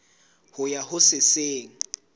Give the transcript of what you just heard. ho ya ho se seng